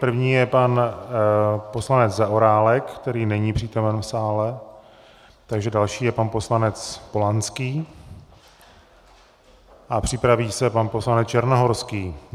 První je pan poslanec Zaorálek, který není přítomen v sále, takže další je pan poslanec Polanský a připraví se pan poslanec Černohorský.